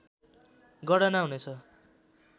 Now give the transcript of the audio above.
गणना हुनेछ